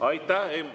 Aitäh!